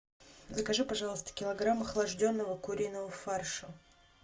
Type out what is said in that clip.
закажи пожалуйста килограмм охлажденного куриного фарша